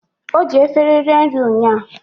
Oji efere rie nri ụńya